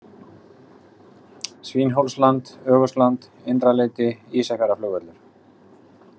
Svínhólsland, Ögursland, Innra-Leiti, Ísafjarðarflugvöllur